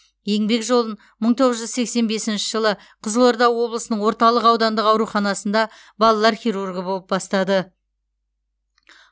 еңбек жолын мың тоғыз жүз сексен бесінші жылы қызылорда облысының орталық аудандық ауруханасында балалар хирургі болып бастады